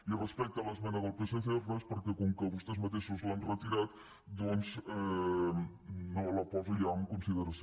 i respecte a l’esmena del psc res perquè com que vostès mateixos l’han retirada doncs no la poso ja en consideració